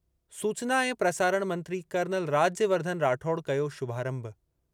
सूचना ऐं प्रसारण मंत्री कर्नल राज्यवर्धन राठौड़ कयो शुभारंभु।